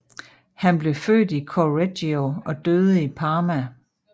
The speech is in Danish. Han blev født i Correggio og døde i Parma